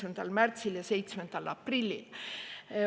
] märtsil ja 7. aprillil.